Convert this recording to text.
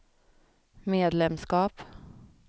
medlemskap